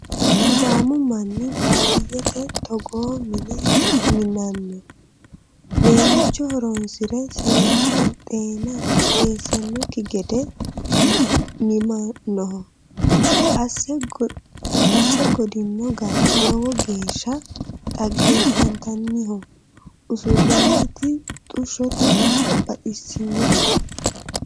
Sidaamu manni baadiyyete togoo mine minano ,leemicho horonsire seekke xeena eessanokki gede mimanoho, asse godino gari lowo geeshsha dhaggeefataniho, usuroniti xushote baxisinoe.